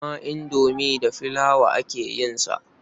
Haka ma indomi da flour aka yin sa.